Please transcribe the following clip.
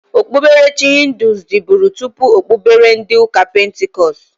Okpuberechi hịndụ diburi tụpụ okpubere ndi uka pentikọst.